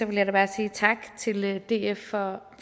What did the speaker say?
vil jeg da bare sige tak til df for